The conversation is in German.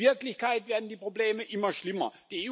In Wirklichkeit werden die Probleme immer schlimmer.